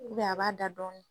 a b'a da dɔɔni.